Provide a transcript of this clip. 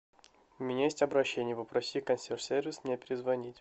у меня есть обращение попроси консьерж сервис мне перезвонить